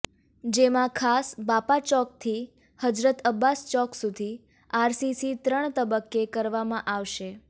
જેમા ખાસ બાપાચોકથી હજરત અબ્બાસ ચોક સુધી આરસીસી ત્રણ તબક્કે કરવામાં આવશે